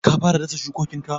Ka fara dasa shukokinka?